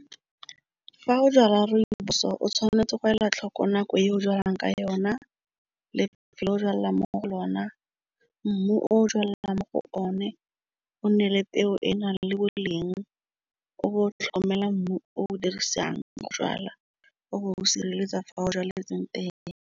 Fa o jala rooibos o tshwanetse go ela tlhoko nako e o jalang ka yona le lefelo o jwalela mo go lona. Mmu o jalang mo go o ne o nne le temo e na le boleng o tlhomela mmu o dirisang o sireletsa fa o tsweletseng teng.